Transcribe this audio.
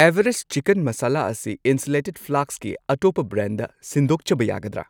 Everest chicken masala ꯑꯁꯤ insulated ꯐ꯭ꯂꯥꯁꯛꯀꯤ ꯑꯇꯣꯞꯄ ꯕ꯭ꯔꯥꯟꯗ ꯁꯤꯟꯗꯣꯛꯆꯕ ꯌꯥꯒꯗ꯭ꯔꯥ?